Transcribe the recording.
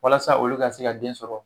Walasa olu ka se ka den sɔrɔ